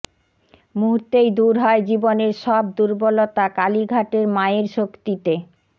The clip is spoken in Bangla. মুহূর্তেই দূর হয় জীবনের সব দুর্বলতা কালীঘাটের মায়ের শক্তিতে